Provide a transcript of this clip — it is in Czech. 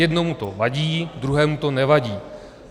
Jednomu to vadí, druhému to nevadí.